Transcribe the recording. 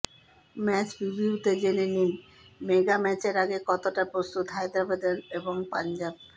match প্রিভিউতে জেনে নিন মেগা ম্যাচের আগে কতটা প্রস্তুত হায়দরাবাদ এবং পঞ্জাব